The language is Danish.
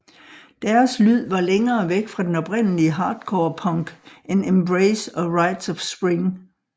Deres lyd var længere væk fra den oprindelige hardcore punk end Embrace og Rites of Spring